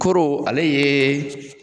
Koro ale ye